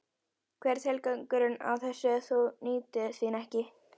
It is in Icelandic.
Hver er tilgangurinn í þessu ef þú nýtur þín ekki?